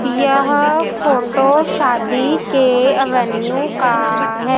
यह फोटो शादी के अवैन्यू का है।